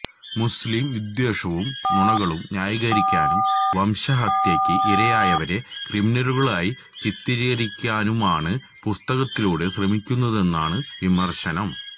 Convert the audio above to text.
മുസ് ലിം വിദ്വേഷവും നുണകളും ന്യായീകരിക്കാനും വംശഹത്യയ്ക്ക് ഇരയായവരെ ക്രിമിനലുകളാക്കി ചിത്രീകരിക്കാനുമാണ് പുസ്തകത്തിലൂടെ ശ്രമിക്കുന്നതെന്നാണു വിമര്ശനം